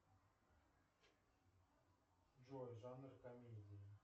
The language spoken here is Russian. джой жанр комедии